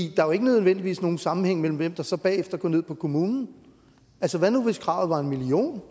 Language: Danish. jo ikke nødvendigvis nogen sammenhæng mellem hvem der så bagefter går ned på kommunen hvad nu hvis kravet var en million